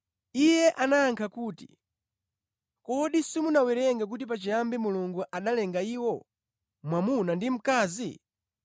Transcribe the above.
Iye anayankha kuti, “Kodi simunawerenge kuti pachiyambi Mulungu analenga iwo, ‘mwamuna ndi mkazi?’